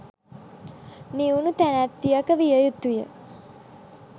නිවුණු තැනැත්තියක විය යුතු ය.